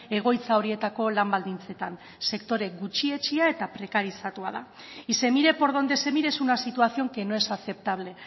egoitza horietako lan baldintzetan sektore gutxietsia eta prekarizatua da y se mire por donde se mire es una situación que no es aceptable